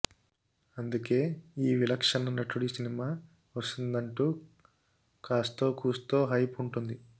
అందుకే ఈ విలక్షణ నటుడి సినిమా వస్తుందంటూ కాస్తో కూస్తో హైప్ ఉంటుంది